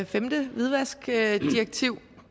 femte hvidvaskdirektiv